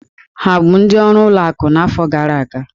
Ha bụ ndị ọrụ ụlọ akụ n'afọ gara aga?